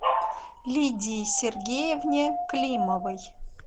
лидии сергеевне климовой